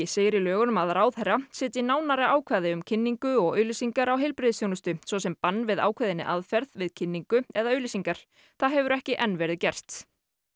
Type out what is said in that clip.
segir í lögunum að ráðherra setji nánari ákvæði um kynningu og auglýsingar á heilbrigðisþjónustu svo sem bann við ákveðinni aðferð við kynningu eða auglýsingar það hefur ekki enn verið gert